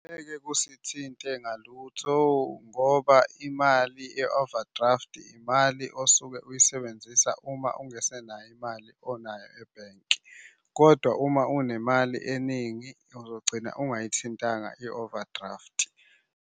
Angeke kusithintile ngalutho ngoba imali ye-overdraft imali osuke uyisebenzisa uma ungasenayo imali onayo ebhenki, kodwa uma unemali eningi uzogcina ungayithintanga i-overdraft.